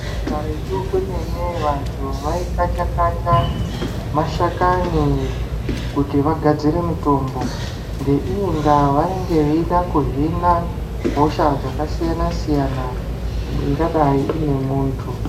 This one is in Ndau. Karetu kwemene vantu vaikacha-kacha mashakani kuti vagadzire mitombo, ngeiyi ndaa vanenge veida kuhina hosha dzakasiyana siyana ingadai ine muntu.